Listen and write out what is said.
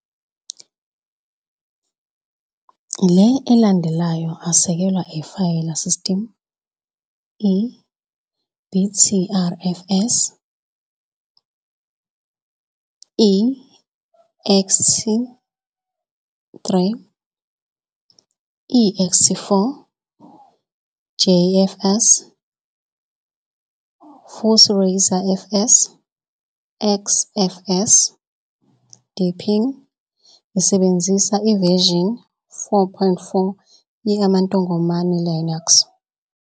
Le elandelayo asekelwa Ifayela System- Btrfs, ext3, ext4, JFS, futhi ReiserFS XFS. deepin isebenzisa version 4.4 ye amantongomane Linux.